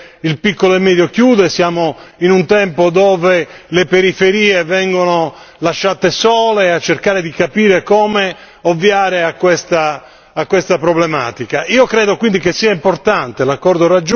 Siamo in tempo di crisi, siamo in un tempo dove il piccolo e medio chiude, siamo in un tempo dove le periferie vengono lasciate sole a cercare di capire come ovviare a questa problematica.